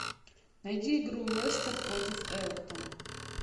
найди игру лестер против эвертон